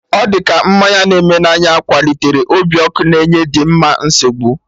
Ọ dị ka mmanya na-eme na anya kwalitere obi ọkụ na enye Dimma nsogbu